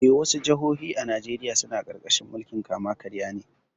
Eh, wasu jihohi a Najeriya suna ƙarƙashin mulkin kama-karya ne.